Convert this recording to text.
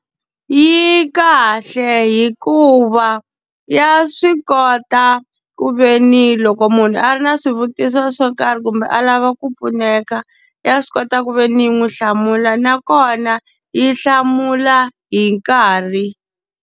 Yi kahle hikuva ya swi kota ku ve ni loko munhu a ri na swivutiso swo karhi kumbe a lava ku pfuneka, ya swi kota ku ve ni yi n'wi hlamula nakona yi hlamula hi nkarhi.